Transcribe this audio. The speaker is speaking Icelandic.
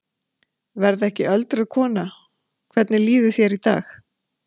Verð ekki öldruð kona Hvernig líður þér í dag?